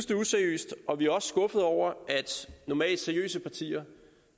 useriøst og vi er også skuffede over at normalt seriøse partier